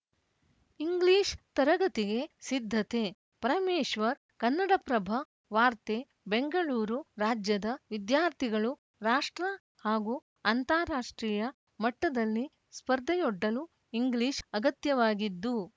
English ತರಗತಿಗೆ ಸಿದ್ಧತೆ ಪರಮೇಶ್ವರ್‌ ಕನ್ನಡಪ್ರಭ ವಾರ್ತೆ ಬೆಂಗಳೂರು ರಾಜ್ಯದ ವಿದ್ಯಾರ್ಥಿಗಳು ರಾಷ್ಟ್ರ ಹಾಗೂ ಅಂತಾರಾಷ್ಟ್ರೀಯ ಮಟ್ಟದಲ್ಲಿ ಸ್ಪರ್ಧೆಯೊಡ್ಡಲು ಇಂಗ್ಲಿಷ್‌ ಅಗತ್ಯವಾಗಿದ್ದು